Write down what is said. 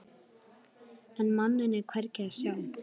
En manninn er hvergi að sjá.